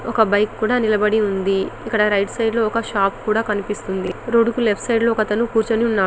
ఒక బైక్ కుడా నిలబడి ఉంది ఇక్కడ రైట్ సైడ్ లో ఒక షాప్ కూడా కనిపిస్తుంది రోడ్ కి లెఫ్ట్ సైడ్ లో ఒక అతను కూర్చొని ఉన్నాడు --